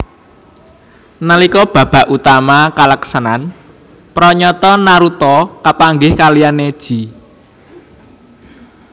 Nalika babak utama kalaksanan pranyata Naruto kapanggih kaliyan Neji